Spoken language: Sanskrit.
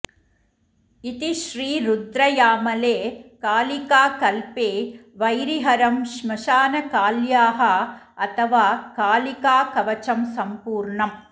इति श्रीरुद्रयामले कालिकाकल्पे वैरिहरं श्मशानकाल्याः अथवा कालिकाकवचं सम्पूर्णम्